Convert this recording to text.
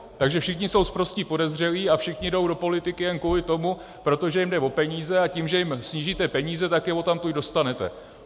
Takže všichni jsou sprostí podezřelí a všichni jdou do politiky jen kvůli tomu, protože jim jde o peníze, a tím, že jim snížíte peníze, tak je odtamtud dostanete.